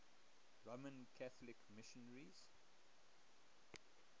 roman catholic missionaries